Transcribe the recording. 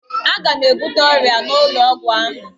Aga m ebute ọrịa n'ụlọ ọgwụ ahụ